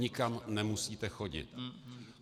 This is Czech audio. Nikam nemusíte chodit.